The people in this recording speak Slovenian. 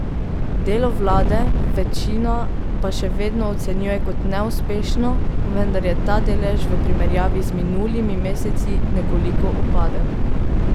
Delo vlade večina pa se še vedno ocenjuje kot neuspešno, vendar je ta delež v primerjavi z minulimi meseci nekoliko upadel.